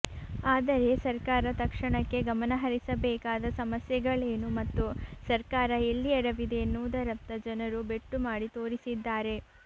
ಆದರೆ ಸರ್ಕಾರ ತಕ್ಷಣಕ್ಕೆ ಗಮನ ಹರಿಸಬೇಕಾದ ಸಮಸ್ಯೆಗಳೇನು ಮತ್ತು ಸರ್ಕಾರ ಎಲ್ಲಿ ಎಡವಿದೆ ಎನ್ನುವುದರತ್ತ ಜನರು ಬೆಟ್ಟು ಮಾಡಿ ತೋರಿಸಿದ್ದಾರೆ